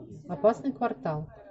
опасный квартал